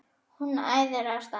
Hún æðir af stað.